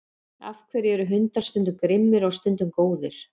af hverju eru hundar stundum grimmir og stundum góðir